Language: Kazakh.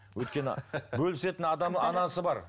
өйткені бөлісетін адамы анасы бар